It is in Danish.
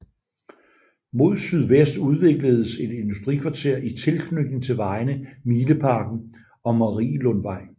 Mod sydvest udvikledes et industrikvarter i tilknytning til vejene Mileparken og Marielundvej